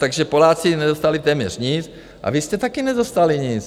Takže Poláci nedostali téměř nic a vy jste také nedostali nic.